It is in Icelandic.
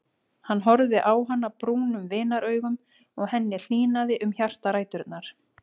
Hann horfði á hana brúnum vinaraugum og henni hlýnaði um hjartaræturnar.